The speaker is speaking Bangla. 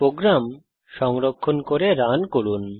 প্রোগ্রাম সংরক্ষণ করে রান করুন